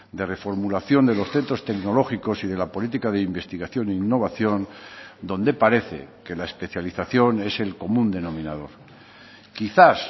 de reformulación de los centros tecnológicos y de la política de investigación e innovación donde parece que la especialización es el común denominador quizás